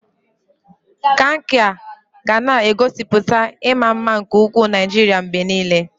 Kankia ga na-egosipụta ịma mma nke ugwu Naijiria mgbe niile.